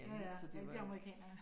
Ja ja, rigtig amerikaner ja